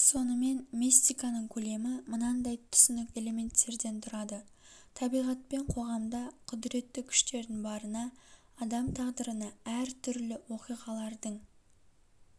сонымен мистиканың көлемі мынандай түсінік элементтерден тұрады табиғат пен қоғамда құдіретті күштердің барына адам тағдырына әр түрлі оқиғалардың